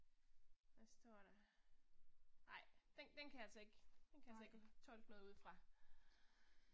Hvad står der. Ej, den den kan jeg altså ikke, den kan jeg altså ikke tolke noget ud fra